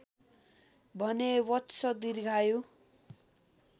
भने वत्स दीर्घायु